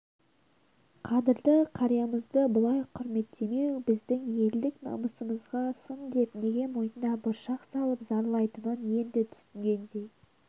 қадырлы қариямызды бұлай құрметтемеу біздің елдік намысымызға сын деп неге мойнына бұршақ салып зарлайтынын енді түсінгендей